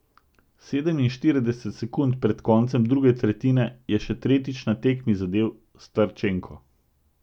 Sedeminštirideset sekund pred koncem druge tretjine je še tretjič na tekmi zadel Starčenko.